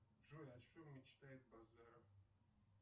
джой о чем мечтает базаров